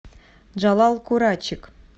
джалал курачик